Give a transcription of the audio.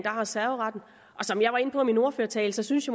har serveretten og som jeg var inde på i min ordførertale synes